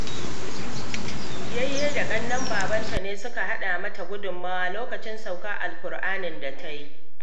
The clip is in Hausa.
Yayye da ƙannen babarta ne suka haɗa mata gudunmawa lokacin saukar al-ƙur'anin da ta yi